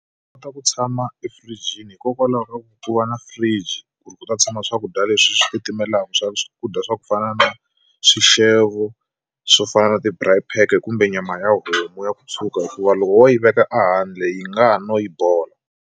U kota ku tshama efiriijini hikokwalaho ka ku na fridge ku ri ku ta tshama swakudya leswi swi titimelaka swa swakudya swa ku fana na swixevo swo fana na ti-braai pack kumbe nyama ya homu ya ku tshuka hikuva loko wo yi veka ehandle yi nga ha no yi bola.